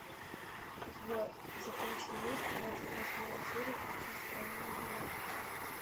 у тебя в запасе есть двадцать восьмая серия очень странные дела